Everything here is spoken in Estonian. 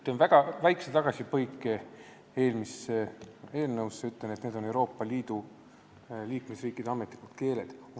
Teen väga väikse tagasipõike eelmise eelnõu juurde ja ütlen, et need on Euroopa Liidu liikmesriikide ametlikud keeled.